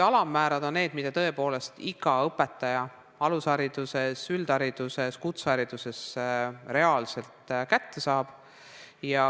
Alammäär on see, mille tõepoolest iga õpetaja alushariduses, üldhariduses, kutsehariduses reaalselt kätte saab.